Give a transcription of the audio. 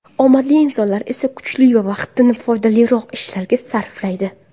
Omadli insonlar esa kuchi va vaqtini foydaliroq ishlarga sarflaydi.